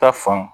Ta fan